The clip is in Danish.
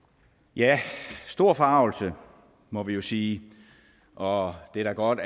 ja stor forargelse må vi jo sige og det er da godt